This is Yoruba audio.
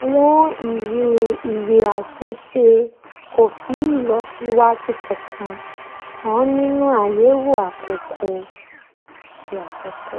àwọn ìwé ìwé àṣẹ̀ṣe kò fi ìlọsíwájú kankan hàn nínú àyẹ̀wò àkọ́kọ́